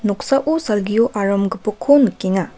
noksao salgio aram gipokko nikenga.